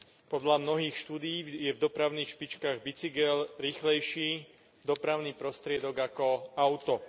Podľa mnohých štúdií je v dopravných špičkách bicykel rýchlejší dopravný prostriedok ako auto.